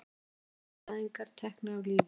Stjórnarandstæðingar teknir af lífi